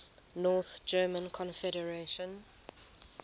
north german confederation